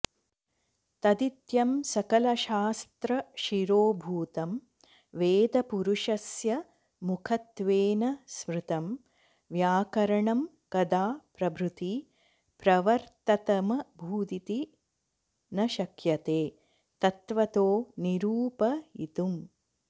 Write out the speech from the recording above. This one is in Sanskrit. तदित्यं सकलशास्त्रशिरोभूतं वेदपुरुषस्य मुखत्वेन स्मृतं व्याकरणं कदा प्रभृति प्रवर्ततमभूदिति न शक्यते तत्वतो निरूपयितुम्